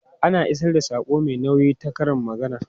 Ana isar da saƙo mai nauyi ta karin magana.